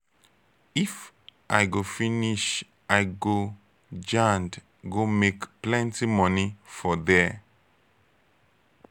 if i go school finish i go jand go make plenti moni for there.